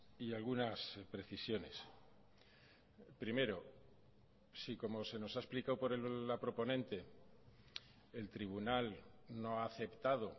y algunas precisiones primero si como se nos ha explicado por la proponente el tribunal no ha aceptado